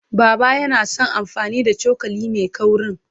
Baba yana son amfani da cokali mai kaurin.